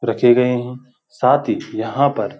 रचे गए हैं साथ ही यहाँ पर --